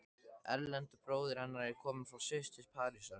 Erlendur bróðir hennar er kominn frá Sviss til Parísar.